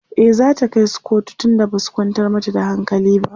e zata kaisu kotu tun da Basu kwantar mata da hankali ba